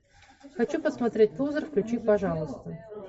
хочу посмотреть лузер включи пожалуйста